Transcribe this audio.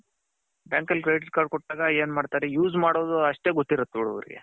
bank ಅಲ್ಲಿ credit card ಕೊಟ್ಟಾಗ ಎನ್ ಮಾಡ್ತಾರೆ use ಮಾಡೋದ್ ಅಷ್ಟೆ ಗೊತ್ತಿರತ್ತೆ ನೋಡ್ ಅವರಿಗೆ.